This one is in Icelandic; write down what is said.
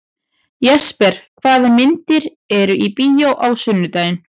Jesper, hvaða myndir eru í bíó á sunnudaginn?